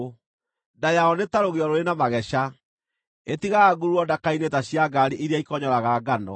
Nda yayo nĩ ta rũgĩo rũrĩ na mageca; ĩtigaga ngururo ndaka-inĩ ta cia ngaari iria ikonyoraga ngano.